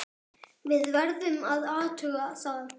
Við verðum að athuga það.